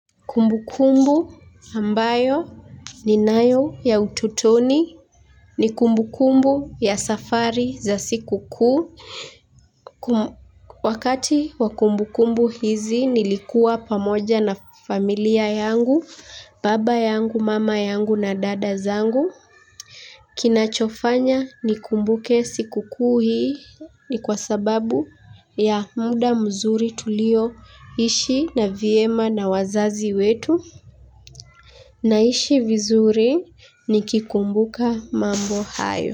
Kumbu kumbu ambayo ni nayo ya utotoni ni kumbu kumbu ya safari za siku kuu. Wakati wa kumbukumbu hizi nlikuwa pamoja na familia yangu baba yangu mama yangu na dada zangu. Kinachofanya ni kumbuke siku kuu hii ni kwa sababu ya muda mzuri tuliyoishi vyema na wazazi wetu. Naishi vizuri ni kikumbuka mambo hayo.